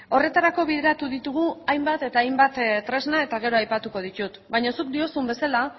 horretarako bideratu ditugu hainbat eta hainbat tresna eta gero aipatuko ditut baina zuk diozun bezala